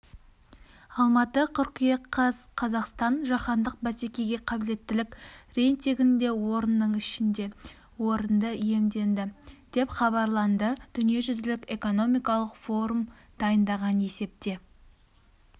алматы қыркүйек қаз қазақстан жаһандық бәсекеге қабілеттілік рейтингінде орынның ішінде орынды иемденді деп хабарланды дүниежүзілік экономикалық форум дайындаған есепте